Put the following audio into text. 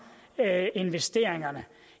investeringerne